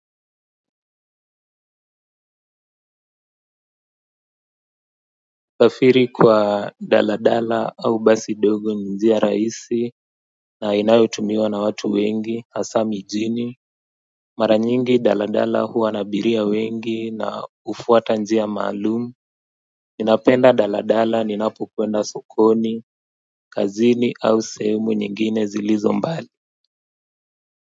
Usafiri kwa daladala au basi dogo ni njia raisi na inayotumiwa na watu wengi hasa mijini mara nyingi daladala huwa na abiria wengi na hufuata njia maalum ninapenda daladala ninapokwenda sokoni kazini au sehemu nyingine zilizo mbali.